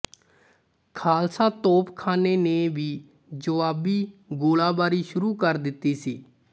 ਖਾਲਸਾ ਤੋਪਖਾਨੇ ਨੇ ਵੀ ਜੁਆਬੀ ਗੋਲਾਬਾਰੀ ਸ਼ੁਰੂ ਕਰ ਦਿੱਤੀ ਸੀ